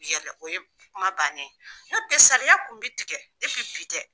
Yɛlɛ o ye kuma bannen ye n'o tɛ saliya kun bɛ tigɛ depi bi tɛ.